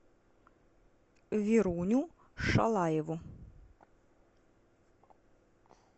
веруню шалаеву